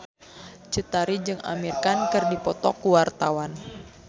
Cut Tari jeung Amir Khan keur dipoto ku wartawan